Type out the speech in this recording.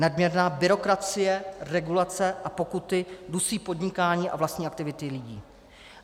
Nadměrná byrokracie, regulace a pokuty dusí podnikání a vlastní aktivity lidí.